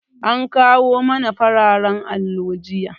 An kawo mana fararan allo jiya.